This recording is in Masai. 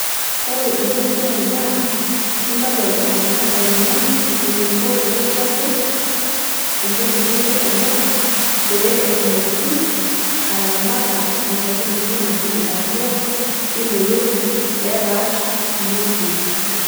ore ena siai naa intodol oltungani eneiko teneshetu entoki naijo ena ee pee etumoki ataramata enkaitubului natii atua ine wueji pepaash ingwesin.